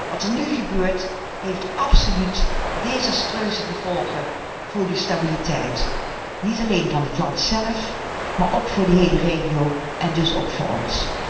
Wat er nu gebeurt heeft absoluut desastreuze gevolgen voor de stabiliteit, niet alleen van het land zelf, maar ook voor de hele regio en daarmee ook voor ons.